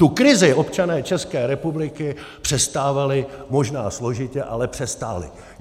Tu krizi občané České republiky přestávali možná složitě, ale přestáli.